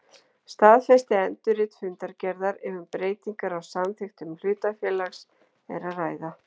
staðfest endurrit fundargerðar ef um breytingar á samþykktum hlutafélags er að ræða.